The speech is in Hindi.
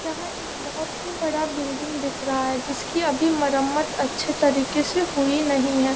यहाँ एक बहुत ही बड़ा बिल्डिंग दिख रहा है जिसकी मरम्मत अच्छी तरह से हुई नहीं है।